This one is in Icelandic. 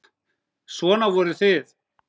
Svona voruð þið.